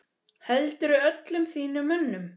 Heldurðu öllum þínum mönnum?